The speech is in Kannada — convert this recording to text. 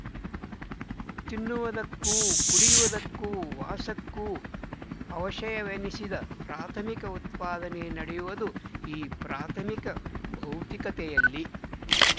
ತಿನ್ನುವುದಕ್ಕೂ ಕುಡಿಯುವುದಕ್ಕೂ ವಾಸಕ್ಕೂ ಅವಶಯವೆನಿಸಿದ ಪ್ರಾಥಮಿಕ ಉತ್ಪಾದನೆ ನಡೆಯುವುದು ಈ ಪ್ರಾಥಮಿಕ ಭೌತಿಕತೆಯಲ್ಲಿ